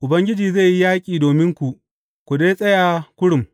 Ubangiji zai yi yaƙi dominku, ku dai tsaya kurum.